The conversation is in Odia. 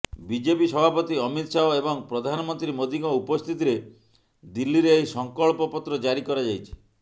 ବିଜେପି ସଭାପତି ଅମିତ ଶାହ ଏବଂ ପ୍ରଧାନମନ୍ତ୍ରୀ ମୋଦିଙ୍କ ଉପସ୍ଥିତିରେ ଦିଲ୍ଲୀରେ ଏହି ସଂକଳ୍ପ ପତ୍ର ଜାରି କରାଯାଇଛି